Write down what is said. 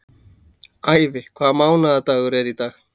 Ævi, hvaða mánaðardagur er í dag?